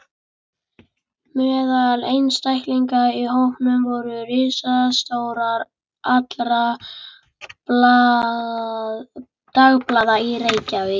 Meðal einstaklinga í hópnum voru ritstjórar allra dagblaða í Reykjavík.